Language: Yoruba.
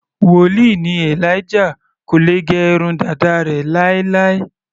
Wòlíì ni Elijah, kò lè gẹ irun dàda rẹ̀ láéláé.